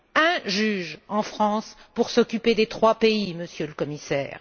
Un juge en France pour s'occuper des trois pays, Monsieur le Commissaire!